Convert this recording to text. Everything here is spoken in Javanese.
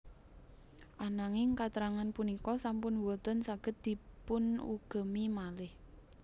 Ananging katrangan punika sampun boten saged dipunugemi malih